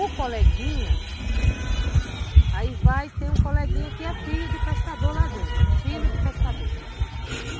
O coleguinha, aí vai ter um coleguinha que é filho de pescador lá dentro, um filho de pescador.